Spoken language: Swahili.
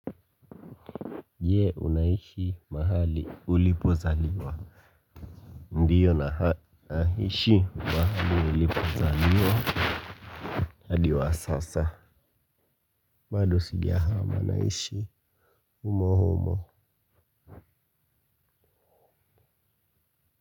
Je unaishi mahali ulipozaliwa. Ndiyo naishi mahali nilipozaliwa hadi wa sasa bado sijahama naishi umo humo.